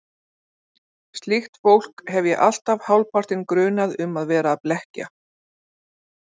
Slíkt fólk hef ég alltaf hálfpartinn grunað um að vera að blekkja.